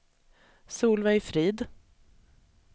Solveig Frid